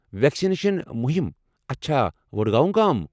Vaccination مٗہمہٕ، اچھا، وڈگاؤں گام۔